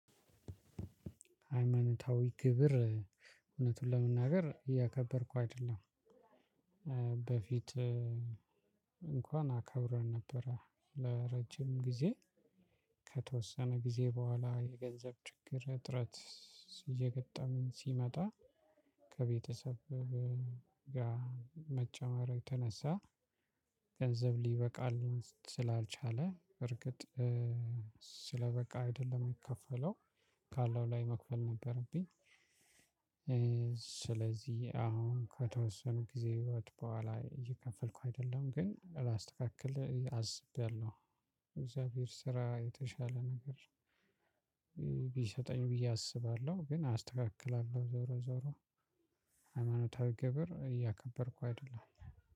ሃይማኖታዊ ግብር እውነቱን ለመናገር እያከበርኩ አይደለም። በፊት እንኳን አከብር ነበረ ለረጅም ጊዜ ከተወሰነ ጊዜ በኋላ የገንዘብ ችግር እጥረት። እየገጠምን ሲመጣ። ከቤተሰብ ጋር መጨመር የተነሳ። ገንዘብ ሊበቃልኝ ስላልቻለ እርግጥ ስለበቃ አይደለም የሚከፈለው ካለው ላይ መክፈል ነበረብኝ። ስለዚህ አሁን ከተወሰኑ ጊዜያት በኃላ እየከፈልኩ አይደለም ግን ላስተካክል አስቤያለሁ። እግዚአብሔር ስራ የተሻለ ነገር ቢሰጠኝ ብዬ አስባለሁ ግን አስተካክላለው ዞሮ ዞሮ። ሃይማኖታዊ ግብር እያከበርኩ አይደለም